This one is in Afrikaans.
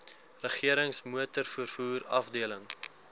regerings motorvervoer afdeling